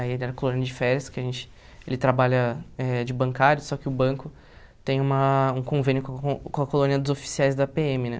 Aí era colônia de férias, que a gente... Ele trabalha eh de bancário, só que o banco tem uma um convênio com com a colônia dos oficiais da pê eme,, né?